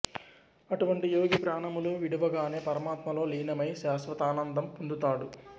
అటువంటి యోగి ప్రాణములు విడువగానే పరమాత్మలో లీనమై శాశ్వతానందం పొందుతాడు